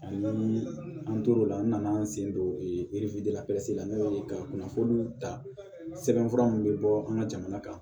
Ani an tor'o la n nana an sen don la la n'o ye ka kunnafoniw ta sɛbɛn fura mun bɛ bɔ an ka jamana kan